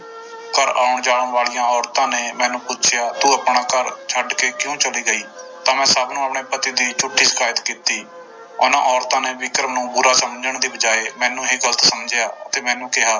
ਘਰ ਆਉਣ ਜਾਣ ਵਾਲੀਆਂ ਔਰਤਾਂ ਨੇ ਮੈਨੂੰ ਪੁੱਛਿਆ ਤੂੰ ਆਪਣਾ ਘਰ ਛੱਡ ਕੇ ਕਿਉਂ ਚਲੀ ਗਈ ਤਾਂ ਮੈਂ ਸਭ ਨੂੰ ਆਪਣੇ ਪਤੀ ਦੀ ਝੂਠੀ ਸਿਕਾਇਤ ਕੀਤੀ, ਉਹਨਾਂ ਔਰਤਾਂ ਨੇ ਵਿਕਰਮ ਨੂੰ ਬੁਰਾ ਸਮਝਣ ਦੀ ਬਜਾਏ ਮੈਨੂੰ ਹੀ ਗ਼ਲਤ ਸਮਝਿਆ ਅਤੇ ਮੈਨੂੰ ਕਿਹਾ,